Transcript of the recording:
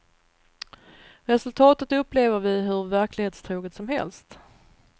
Resultatet upplever vi hur verklighetstroget som helst.